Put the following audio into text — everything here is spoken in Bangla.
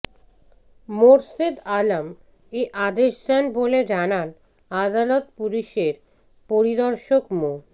মোর্শেদ আলম এ আদেশ দেন বলে জানান আদালত পুলিশের পরিদর্শক মো